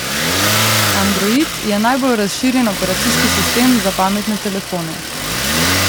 Android je najbolj razširjen operacijski sistem za pametne telefone.